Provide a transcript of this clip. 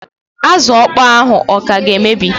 Azụ ọkpọọ ahụ ọ ka ga-emebi?